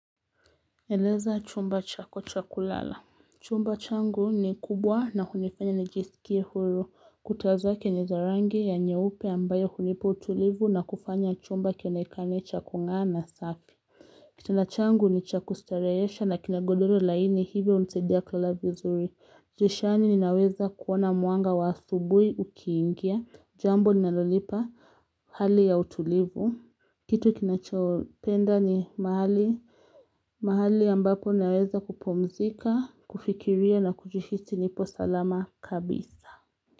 Eleza chumba chako cha kulala. Chumba changu ni kubwa na hunifanya nijisikie huru. Kuta zake ni za rangi ya nyeupe ambayo hunipa utulivu na kufanya chumba kionekane cha kung'aa na safi. Kitanda changu ni cha kustarehesha na kina godoro laini hivyo hunisaidia kulala vizuri. Dirishani ninaweza kuona mwanga wa asubuhi ukiingia. Jambo linalonipa hali ya utulivu. Kitu kinachopenda ni mahali, mahali ambapo naweza kupumzika, kufikiria na kujihisi nipo salama kabisa.